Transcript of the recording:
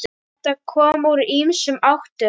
Þetta kom úr ýmsum áttum.